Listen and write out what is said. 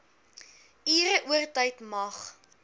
ure oortyd mag